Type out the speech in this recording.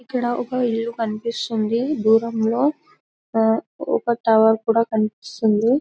ఇక్కడఒక ఇల్లు కనిపిస్తుంది దూరంలో ఒక టవల్